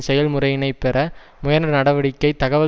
செயல்முறையினைப் பெற முயன்ற நடவடிக்கை தகவல்